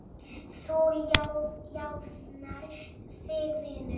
Þú jafnar þig vinur.